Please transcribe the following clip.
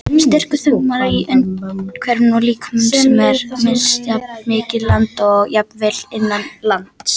Styrkur þungmálmanna í umhverfinu og í lífverum er misjafn milli landa og jafnvel innan landa.